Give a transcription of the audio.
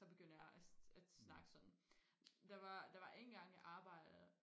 så begynder jeg at at snakke sådan der var der var en gang jeg arbejdede